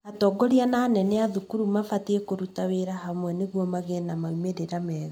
Atongoria na anene a thukuru mabatiĩ kũruta wĩra hamwe nĩguo magĩe na maumĩrira mega